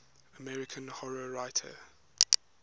american horror writers